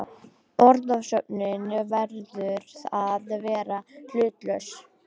Orðasöfnunin verður að vera hlutlaus.